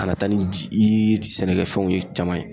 Kana taa ni ji ii sɛnɛkɛfɛnw ye caman ye